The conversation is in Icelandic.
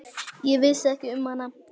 Ég vissi ekki um hana.